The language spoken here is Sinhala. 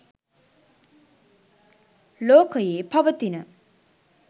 ලෝකයේ පවතින